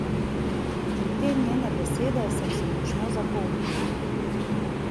In te njene besede sem si močno zapomnila.